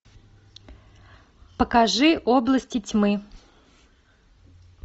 покажи области тьмы